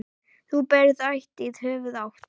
Þú berð ætíð höfuð hátt.